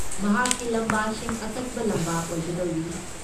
ꯃꯍꯥꯛꯀꯤ ꯂꯝꯕꯥꯁꯤꯡ ꯑꯀꯟꯕ ꯂꯝꯕꯥ ꯑꯣꯏꯒꯗꯧꯔꯤ꯫